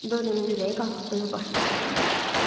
Doryanın ürəyi qalxdı, başı gicəlləndi.